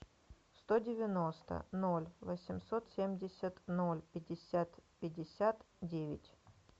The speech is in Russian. сто девяносто ноль восемьсот семьдесят ноль пятьдесят пятьдесят девять